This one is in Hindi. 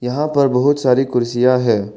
यहां पर बहुत सारी कुर्सियां है।